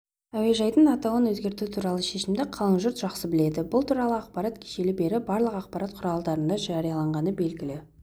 әуежайдың атауын өзгерту туралы шешімді қалың жұрт жақсы біледі бұл туралы ақпар кешелі бері барлық ақпарат құралдарында жарияланғаны белгілі